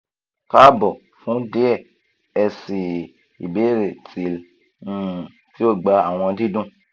kaabo fun diẹ ẹ sii ibeere till um ti o gba awọn didun